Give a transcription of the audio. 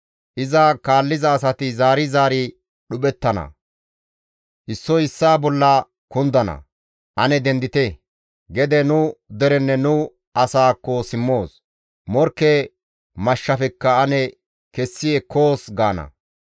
Iza kaalliza asati zaari zaari dhuphettana; issoy issaa bolla kundana; ‹Ane dendite! Gede nu derenne nu asaakko ane simmoos; morkke mashshafekka ane kessi ekkoos› gaana.